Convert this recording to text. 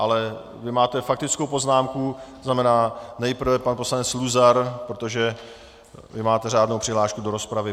Ale vy máte faktickou poznámku, to znamená, nejprve pan poslanec Luzar, protože vy máte řádnou přihlášku do rozpravy.